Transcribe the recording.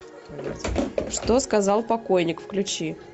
что сказал покойник включи